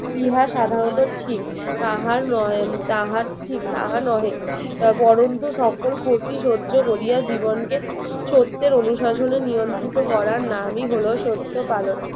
ইহা সাধারণত ঠিক তাহার নয় তাহার ঠিক তাহা নহে আহ বরণতু সকল ক্ষতি সহ্য কোরিয়া জীবনকে সত্যের অনুশাসনে নিয়ন্ত্রিত করার নামই হল সত্য পালন